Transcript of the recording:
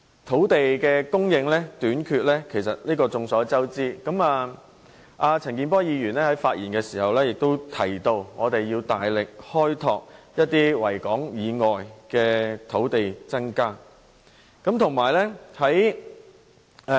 土地供應短缺是眾所周知的，陳健波議員發言時也說要大力開拓維港以外的範圍，以增加土地供應。